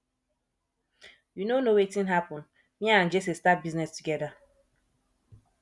you no know wetin happen me abd jesse start business together